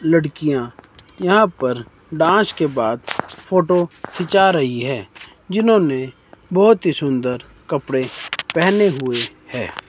लड़कियां यहां पर डांस के बाद फोटो खींचा रही है जिन्होंने बहोत ही सुंदर कपड़े पहने हुए है।